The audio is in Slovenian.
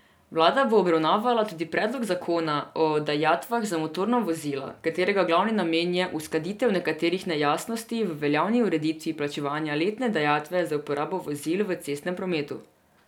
Vlada bo obravnavala tudi predlog zakona o dajatvah za motorna vozila, katerega glavni namen je uskladitev nekaterih nejasnosti v veljavni ureditvi plačevanja letne dajatve za uporabo vozil v cestnem prometu.